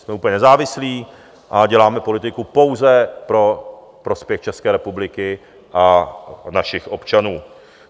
Jsme úplně nezávislí a děláme politiku pouze pro prospěch České republiky a našich občanů.